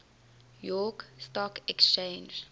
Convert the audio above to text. york stock exchange